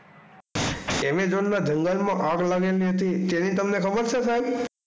એમેઝોનના જંગલ માં આગ લાગેલી હતી તેની તમને ખબર છે સાહેબ.